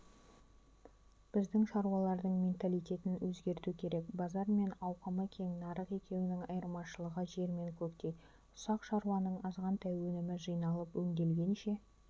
біздің шаруалардың менталитетін өзгерту керек базар мен ауқымы кең нарық екеуінің айырмашылығы жер мен көктей ұсақ шаруаның азғантай өнімі жиналып өңделгенше